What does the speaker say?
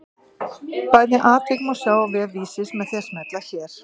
Bæði atvik má sjá á vef Vísis með því að smella hér.